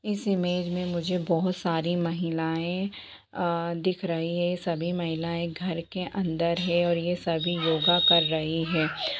इस इमेज में मुझे बहुत सारी महिलाएं अ दिख रही है सभी महिलाएं घर के अंदर है और ये सभी योगा कर रही है।